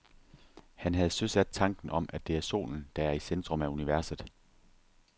Han havde søsat tanken om, at det er solen, der er i centrum af universet.